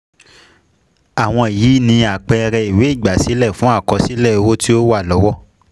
Àwọn yìí ni àpẹẹrẹ ìwé ígbásílẹ́ fun àkọsílẹ̀ owo tí o wa lọwo.